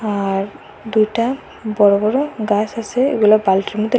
আর দুইটা বড়ো বড়ো গাছ আসে এগুলো বালটির মধ্যে--